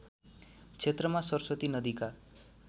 क्षेत्रमा सरस्वती नदीका